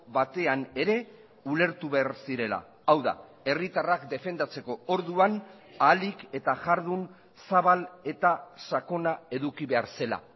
batean ere ulertu behar zirela hau da herritarrak defendatzeko orduan ahalik eta jardun zabal eta sakona eduki behar zela